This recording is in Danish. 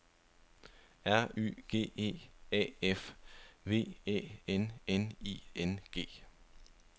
R Y G E A F V Æ N N I N G